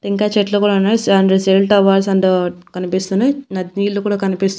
ఇంకా చెట్లు కూడా ఉన్నాయి సే అంటే సెల్ టవర్స్ అండ్ కనిపిస్తున్నాయి న నీళ్లు కూడా కనిపిస్తున్నాయి.